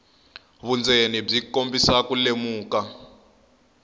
vundzeni byi kombisa ku lemuka